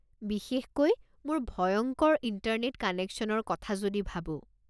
বিশেষকৈ মোৰ ভয়ংকৰ ইণ্টাৰনেট কানেকশ্যনৰ কথা যদি ভাবো।